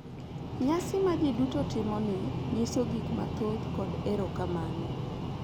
Nyasi ma ji duto timo ni nyiso gik mathoth kod erokamano,